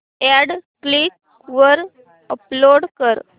add Quikr वर upload कर